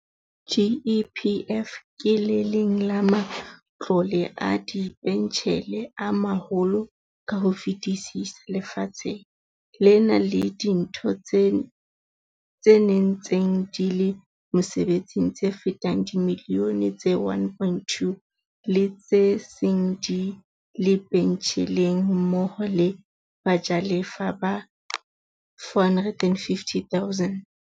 GEPF ke le leng la ma tlole a dipentjhele a maholo ka ho fetisisa lefatsheng, le na le ditho tse ntseng di le mosebetsing tse fetang dimilione tse 1.2, le tse seng di le pentjheleng mmoho le bajalefa ba 450 000.